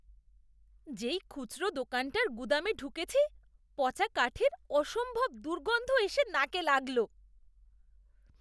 যেই খুচরো দোকানটার গুদামে ঢুকেছি পচা কাঠের অসম্ভব দুর্গন্ধ এসে নাকে লাগল।